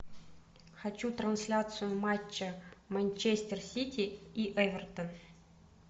хочу трансляцию матча манчестер сити и эвертон